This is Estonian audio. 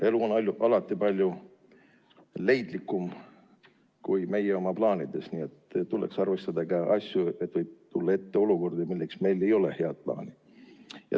Elu on alati palju leidlikum kui meie oma plaanidega, nii et tuleks arvestada seda, et ette võib tulla ka olukordi, mille jaoks meil ei ole head plaani.